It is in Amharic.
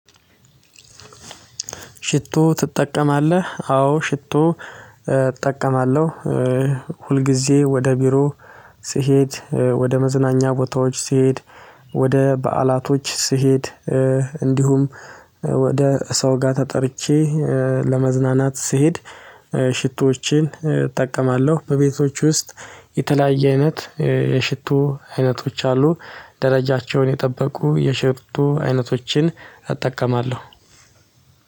ሽቶ? ትጠቀማለህ አዎ ሽቶ እጠቀማለሁ። ሁልጊዜ ወደ ቢሮ ስሄድ ወደ መዝናኛ ቦታዎች ስሄድ ወደ በዓላቶች ስሄድ እንዲሁም ወደ ሰው ጋር ተጠርቼ ለመዝናናት ስሄድ ሽቶዎችን እጠቀማለሁ። በቤቶች ውስጥ የተለያየ አይነት የሽቶ አይነቶች አሉ ደረጃቸውን የጠበቁ የሽቶ አይነቶችን እጠቀማለሁ።